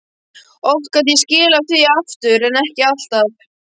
Oft gat ég skilað því aftur en ekki alltaf.